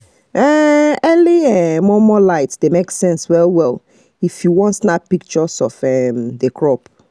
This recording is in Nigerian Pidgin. um early um momo light dey make sense well well if you want snap picture of um the crop